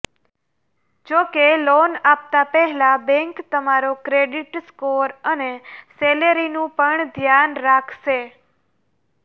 જોકે લોન આપતા પહેલા બેન્ક તમારો ક્રેડિટ સ્કોર અને સેલેરીનું પણ ધ્યાન રાખશે